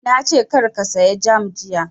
Na ce kar ka saya jam jiya!